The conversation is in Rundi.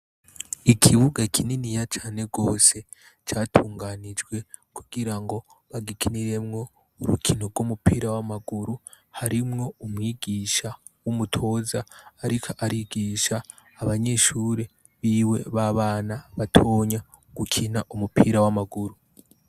Ikibuga kininiya cane gose catunganijwe kugira ngo bagikiniremwo yurukinoumupira w'amaguru, harimwo umwigisha w'umutoza ariko arigisha abanyeshure biwe b'abana gukina umupira w'amaguru.